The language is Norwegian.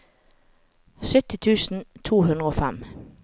sytti tusen to hundre og fem